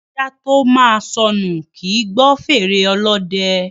Ajá tó máa sọnù, kì í gbọ́ fèrè ọlọ́dẹ.